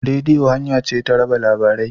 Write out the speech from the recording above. Rediyo hanya ce ta raba labarai.